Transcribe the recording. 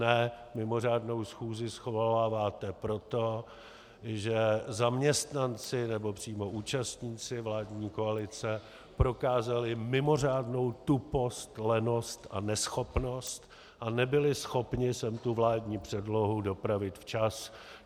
Ne, mimořádnou schůzi svoláváte proto, že zaměstnanci nebo přímo účastníci vládní koalice prokázali mimořádnou tupost, lenost a neschopnost a nebyli schopni sem tu vládní předlohu dopravit včas.